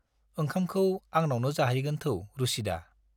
ओंखामखौ आंनावनो जाहैगोन थौ रुसिदा।